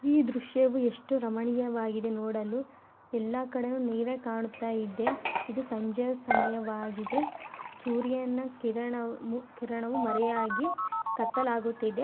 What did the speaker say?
ಈ ದೃಶ್ಯವು ಎಷ್ಟು ರಮಣೀಯವಾಗಿದೆ ನೋಡಲು ಎಲ್ಲ ಕಡೆನೆ ನೀರೆ ಕಾಣತ ಇದೆ. ಇದು ಸಂಜೆ ಸಮಯವಾಗಿದೆ ಸೂರ್ಯನ ಕಿರಣ-ಕಿರಣವೂ ಮರೆಯಾಗಿ ಕತ್ತಲಾಗುತ್ತಿದೆ.